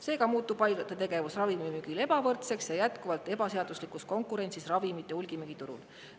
Seega muutub haiglate tegevus ravimimüügil ebavõrdseks ja see on jätkuvalt ebaseaduslikus konkurentsis ravimite hulgimüügiturul.